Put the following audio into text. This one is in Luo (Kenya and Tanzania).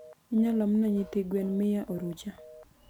iyaloomma nyithi gwen mia orucha?